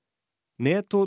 net og